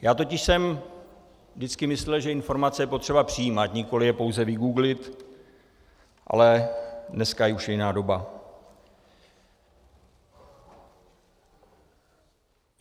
Já totiž jsem vždycky myslel, že informace je potřeba přijímat, nikoli je pouze vygooglit, ale dneska už je jiná doba.